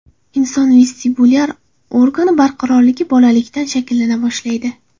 Inson vestibulyar organi barqarorligi bolalikdan shakllana boshlaydi.